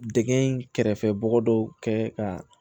Dɛgɛn in kɛrɛfɛ bɔgɔ dɔw kɛ ka